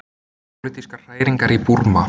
Pólitískar hræringar í Búrma